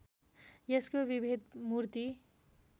यसको विभेद मूर्ति